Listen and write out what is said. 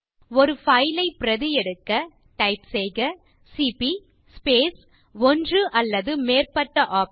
ஒரு பைல் ஐ பிரதி எடுக்க டைப் செய்க சிபி ஸ்பேஸ் ஒன்று அல்லது மேற்பட்ட OPTION